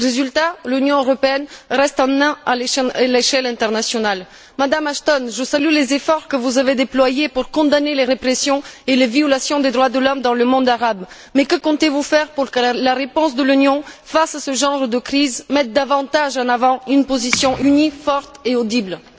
Le résultat est que l'Union européenne reste une naine à l'échelle internationale. Madame Ashton, je salue les efforts que vous avez déployés pour condamner les répressions et les violations des droits de l'homme dans le monde arabe. Mais que comptez vous faire pour que la réponse de l'Union face à ce genre de crise mette davantage en avant une position unie, forte et audible?